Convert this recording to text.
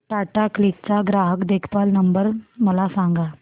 Tata Cliq चा ग्राहक देखभाल नंबर मला सांगा